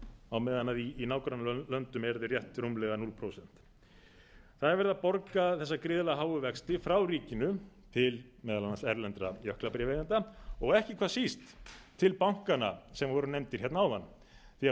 á meðan í nágrannalöndum eru þeir rétt rúmlega núll prósent það er verið að borga þessa gríðarlega háu vexti frá ríkinu til meðal annars erlendra jöklabréfaeigenda og ekki hvað síst til bankanna sem voru nefndir hérna áðan því